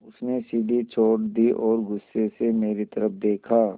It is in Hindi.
उसने सीढ़ी छोड़ दी और गुस्से से मेरी तरफ़ देखा